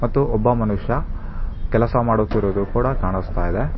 ಮತ್ತು ಒಬ್ಬ ಮನುಷ್ಯ ಕೆಲಸ ಮಾಡುತ್ತಿರುವುದು ಕೂಡ ಕಾಣಸ್ತಾ ಇದೆ.